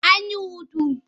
An yi hutu.